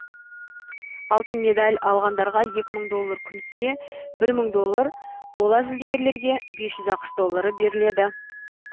алтын медаль алғандарға екі мың доллар күміске бір мың доллар қола жүлдегерлерге бес жүз ақш доллары беріледі